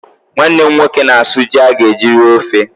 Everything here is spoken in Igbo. Nwanne m nwoke na-asụ ji a ga-eji rie ofe.